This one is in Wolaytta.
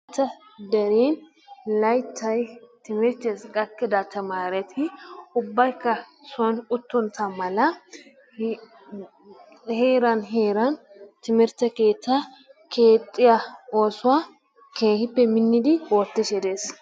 Ta dere laytta timirttessi gakido tamaretti ubbaykka soon uttontta mala heeran heeran timirtte keettaa keexxiya oosuwaa keehippe minnidi oottishe dees.